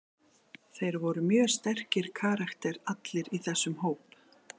Þeir voru mjög sterkir karakterar allir í þessum hóp.